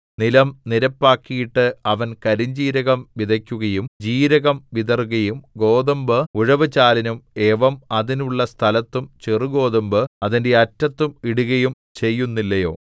നിലം നിരപ്പാക്കിയിട്ട് അവൻ കരിഞ്ജീരകം വിതയ്ക്കുകയും ജീരകം വിതറുകയും ഗോതമ്പ് ഉഴവു ചാലിലും യവം അതിനുള്ള സ്ഥലത്തും ചെറുഗോതമ്പ് അതിന്റെ അറ്റത്തും ഇടുകയും ചെയ്യുന്നില്ലയോ